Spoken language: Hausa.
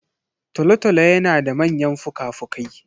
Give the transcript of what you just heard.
Tolotolo yana da manyan fukafuki.